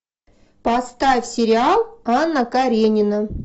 поставь сериал анна каренина